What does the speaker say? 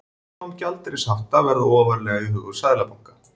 Afnám gjaldeyrishafta ofarlega í huga seðlabanka